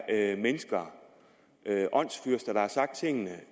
er mennesker åndsfyrster der har sagt tingene